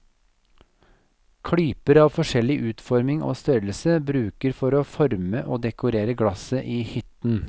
Klyper av forskjellig utforming og størrelse brukes for å forme og dekorere glasset i hytten.